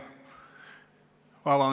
Aitäh!